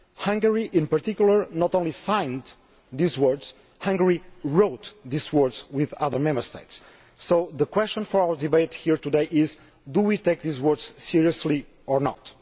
Hungary, in particular, not only signed these words, Hungary wrote these words with other Member States. So the question for our debate here today is do we take these words seriously or not?